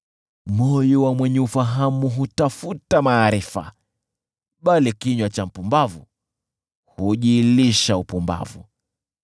Moyo wa mwenye ufahamu hutafuta maarifa, bali kinywa cha mpumbavu hujilisha upumbavu.